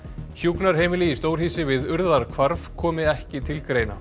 hjúkrunarheimili í stórhýsi við komi ekki til greina